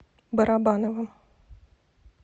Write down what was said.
барабановым